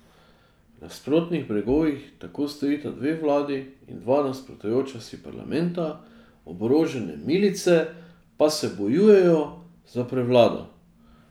Na nasprotnih bregovih tako stojita dve vladi in dva nasprotujoča si parlamenta, oborožene milice pa se bojujejo za prevlado.